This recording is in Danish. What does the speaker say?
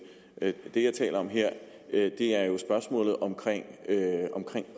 det jeg taler om her er jo spørgsmålet om